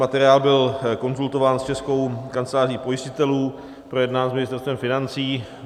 Materiál byl konzultován s Českou kanceláří pojistitelů, projednán s Ministerstvem financí.